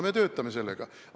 Me töötame selle kallal.